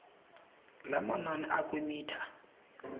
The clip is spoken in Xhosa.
lamanani akwi mitha